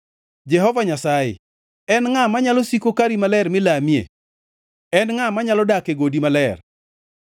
Jehova Nyasaye, en ngʼa manyalo siko kari maler milamie? En ngʼa manyalo dak e godi maler?